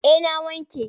Eh na wanke.